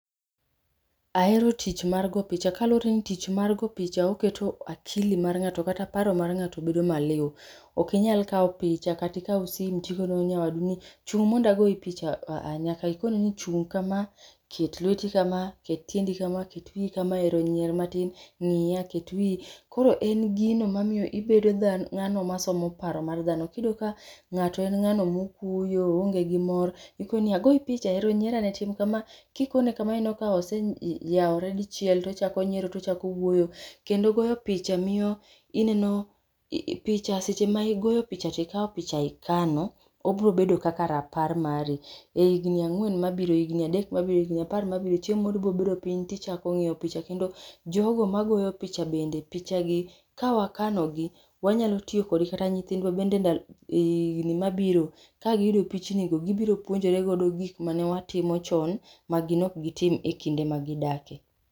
Ahero tich mar go picha kaluwre ni tich mar go picha oketo akili mar ng'ato kata paro mar ng'ato bedo maliw. Ok inyal kawo picha katikaw sim tikono nyawadu ni chung' mondo agoyi picha aah, nyaka ikone ni chung' kama, ket lweti kama, ket tiendi kama, ket wiyi kama ero nyier matin, ng'iya ket wiyi. Koro en gino mamiyo ibedo ng'ano masomo paro mar dhano. Kiyudo ka ng'ato en ng'ano mokuyo oonge gi mor ikoniya agoyi picha ero nyier ane ero tim kama ikone kama oneno ka oseyawore dichiel tochako nyiero tochako wuoyo. Seche ma igoyo picha to ikawo picha to ikano, obro bedo kaka rapar mari e higni ang'wen mabiro e higni adek mabiro, e higni apar mabiro chieng' moro ibobedo piny tichako ng'iyo picha kendo jogo magoyo picha bende pichagi ka wakanogi, wanyalo tiyokodgi kata nyithindwa bende e higni mabiro ka giyudo pichnigo gibiro puonjoregodo gik mane watimo chon magin ok gitim e kinde magidake.